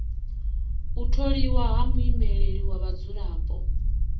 u tholiwa ha muimeleli wa vhadzulapo